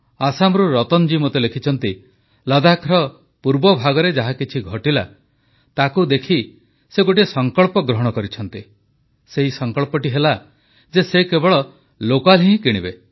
ଆସାମରୁ ରଜନୀ ଜୀ ମୋତେ ଲେଖିଛନ୍ତି ଲଦ୍ଦାଖର ପୂର୍ବଭାଗରେ ଯାହାକିଛି ଘଟିଲା ତାକୁଦେଖି ସେ ଗୋଟିଏ ସଂକଳ୍ପ ଗ୍ରହଣ କରିଛନ୍ତି ସେ ସଂକଳ୍ପଟି ହେଲା ଯେ ସେ କେବଳ ସ୍ଥାନୀୟ ଜିନିଷ ହିଁ କିଣିବେ